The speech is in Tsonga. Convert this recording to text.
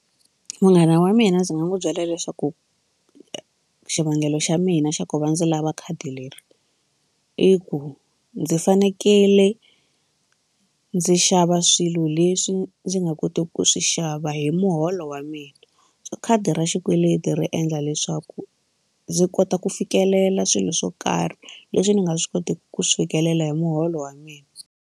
Munghana wa mina ndzi nga n'wi byela leswaku xivangelo xa mina xa ku va ndzi lava khadi leri i ku ndzi fanekele ndzi xava swilo leswi ndzi nga koteki ku swi xava hi muholo wa mina so khadi ra xikweleti ri endla leswaku ndzi kota ku fikelela swilo swo karhi leswi ni nga swi koti ku swi fikelela hi muholo wa mina.